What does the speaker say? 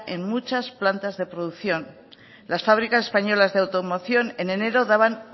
en muchas plantas de producción las fábricas españolas de automoción en enero daban